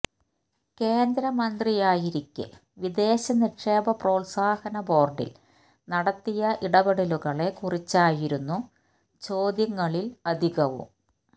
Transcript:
കേന്ദ്രമന്ത്രിയായിരിക്കെ വിദേശ നിക്ഷേപ പ്രോൽസാഹന ബോർഡിൽ നടത്തിയ ഇടപെടലുകളെക്കുറിച്ചായിരുന്നു ചോദ്യങ്ങളിൽ അധികവും